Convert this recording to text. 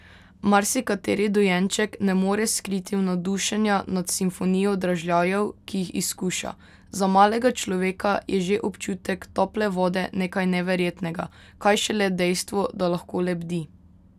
Marsikateri dojenček ne more skriti navdušenja nad simfonijo dražljajev, ki jih izkuša, za malega človeka je že občutek tople vode nekaj neverjetnega, kaj šele dejstvo, da lahko lebdi!